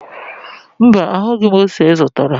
Mba, ahụghị m ose ị zụtara